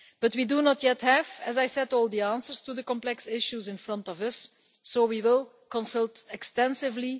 We do not yet have, as I said, all the answers to the complex issues in front of us, so we will consult extensively.